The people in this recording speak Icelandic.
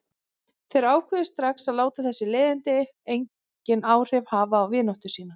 Þeir ákváðu strax að láta þessi leiðindi engin áhrif hafa á vináttu sína.